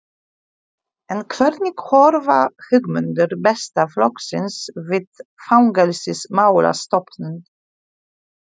En hvernig horfa hugmyndir Besta flokksins við Fangelsismálastofnun?